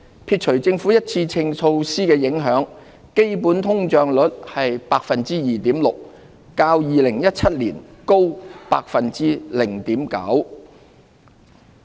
撇除政府一次性措施的影響，基本通脹率為 2.6%， 較2017年高 0.9%。